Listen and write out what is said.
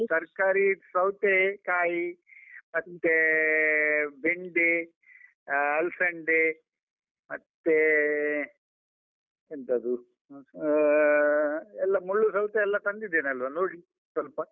ತರ್ಕಾರಿ ಸೌತೇಕಾಯಿ, ಮತ್ತೆ ಬೆಂಡೆ, ಅಹ್ ಅಲ್ಸಂಡೆ, ಮತ್ತೆ ಎಂತದು, ಹಾ ಅಹ್ ಎಲ್ಲ ಮುಳ್ಳು ಸೌತೆ ಎಲ್ಲ ತಂದಿದ್ದೇನಲ್ವಾ ನೋಡಿ ಸ್ವಲ್ಪ.